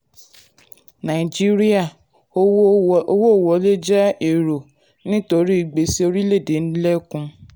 nàìjíríà: owó wọlé jẹ́ èrò nítorí gbèsè orílẹ̀-èdè ń lékún. orílẹ̀-èdè ń lékún.